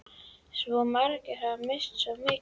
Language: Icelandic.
Svo margir hafa misst svo mikið.